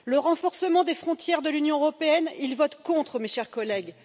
le renforcement des frontières de l'Union européenne, ils votent contre, mes chers collègues!